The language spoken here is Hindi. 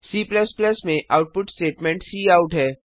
C में आउटपुट स्टेटमेंट काउट है